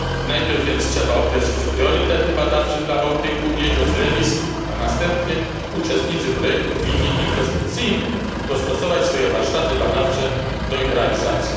Najpierw trzeba więc określić priorytety badawcze dla Bałtyku i jego zlewisk, a następnie uczestnicy projektu winni inwestycyjnie dostosować swoje warsztaty badawcze do ich realizacji.